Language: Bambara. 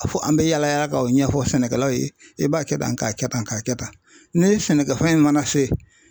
Fo an bɛ yaala yaala ka o ɲɛfɔ sɛnɛkɛlaw ye i b'a kɛ tan k'a kɛ tan k'a kɛ tan ne sɛnɛkɛ fɛn mana se